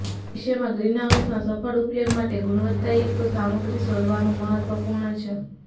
ભવિષ્યમાં ગ્રીનહાઉસના સફળ ઉપયોગ માટે ગુણવત્તાયુક્ત સામગ્રી શોધવાનું મહત્વપૂર્ણ છે